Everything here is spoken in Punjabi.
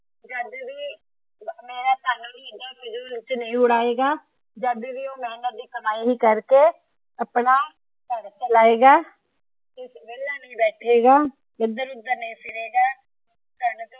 ਮੇਹਨਤ ਦੀ ਕਮਾਈ ਕਰ ਕੇ ਆਪਣਾ ਘਰ ਚਲਾਏਗਾ ਵੇਹਲਾ ਨਹੀਂ ਬੈਠੇਗਾ ਏਧਰ ਓਧਰ ਨਹੀਂ ਫਿਰੇਗਾ ।